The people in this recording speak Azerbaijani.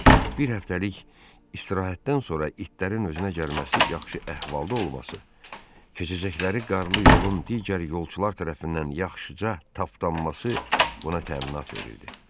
Bir həftəlik istirahətdən sonra itlərin özünə gəlməsi, yaxşı əhvalda olması, keçəcəkləri qarlı yolun digər yolçular tərəfindən yaxşıca tapdanması buna təminat verirdi.